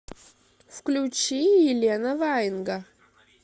включи елена ваенга